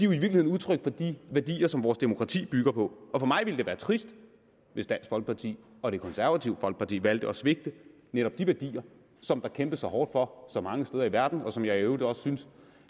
virkeligheden udtryk for de værdier som vores demokrati bygger på for mig ville det være trist hvis dansk folkeparti og det konservative folkeparti valgte at svigte netop de værdier som der kæmpes så hårdt for mange steder i verden og som jeg i øvrigt også synes